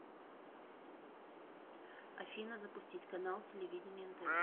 афина запустить канал телевидения нтв